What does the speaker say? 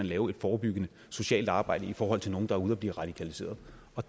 lave et forebyggende socialt arbejde i forhold til nogle der er ude at blive radikaliseret